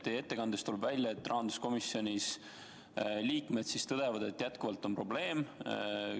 Teie ettekandest tuleb välja, et rahanduskomisjoni liikmed tõdevad, et probleem püsib.